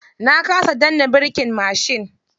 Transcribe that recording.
Na kasa danna birkin mashin.